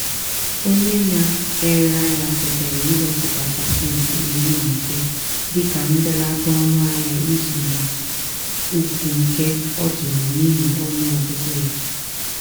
onye na-ere ahịa kwetara iwepụta pasenti iri na ise dịka mbelata ọnụ ahịa ịzụ n'ukwunke ọ tụrụ n'ihi ọnụ ọgụgụ ya.